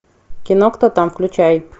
кино кто там включай